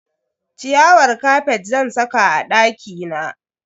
Ciyawar kafet zan saka a dakina.